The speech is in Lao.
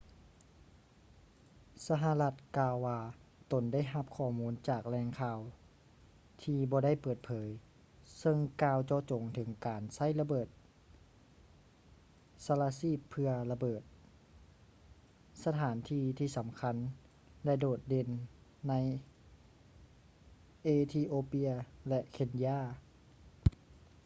ສະຫະລັດກ່າວວ່າຕົນໄດ້ຮັບຂໍ້ມູນຈາກແຫຼ່ງຂ່າວທີ່ບໍ່ໄດ້ເປີດເຜີຍເຊິ່ງກ່າວເຈາະຈົງເຖິງການໃຊ້ລະເບີດສະລະຊີບເພື່ອລະເບີດ ສະຖານທີ່ທີ່ສຳຄັນ ແລະ ໂດດເດັ່ນ ໃນເອທິໂອເປຍ ແລະ ເຄນຢາ